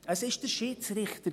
Es war der Schiedsrichter.